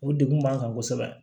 O degun b'an kan kosɛbɛ